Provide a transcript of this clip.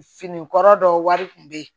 Fini kɔrɔ dɔ wari kun be yen